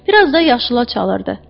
Bir az da yaşıla çalırdı.